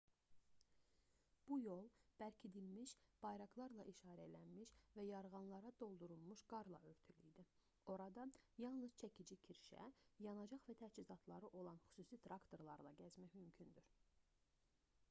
bu yol bərkidilmiş bayraqlarla işarələnmiş və yarğanlara doldurulmuş qarla örtülü idi orada yalnız çəkici kirşə yanacaq və təchizatları olan xüsusi traktorlarla gəzmək mümkündür